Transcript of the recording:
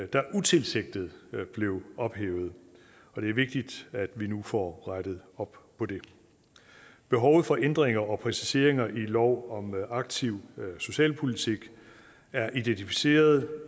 der utilsigtet blev ophævet og det er vigtigt at vi nu får rettet op på det behovet for ændringer og præciseringer i lov om aktiv socialpolitik er identificeret